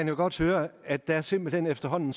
jo godt høre at der simpelt hen efterhånden